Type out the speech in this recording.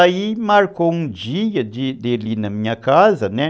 Aí marcou um dia dele ir na minha casa, né?